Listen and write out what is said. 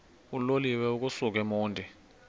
uloliwe ukusuk emontini